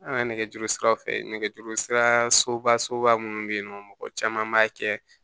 An ka nɛgɛjuru siraw fɛ nɛgɛjuru sira soba minnu bɛ yen nɔ mɔgɔ caman b'a kɛ